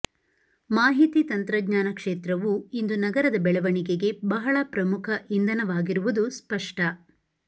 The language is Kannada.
ಮಾಹಿತಿ ತಂತ್ರಜ್ಞಾನ ಕ್ಷೇತ್ರವೂ ಇಂದು ನಗರದ ಬೆಳವಣಿಗೆಗೆ ಬಹಳ ಪ್ರಮುಖ ಇಂಧನವಾಗಿರುವುದು ಸ್ಪಷ್ಟ